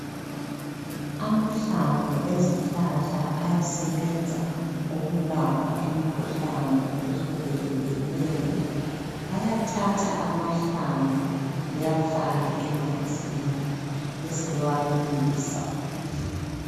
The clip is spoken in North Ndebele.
Amahlamvu ezihlahla ayasebenza ukulapha imikhuhlane ehlukehlukeneyo, bayathatha amahlamvu bewafake emanzini besebewabilisa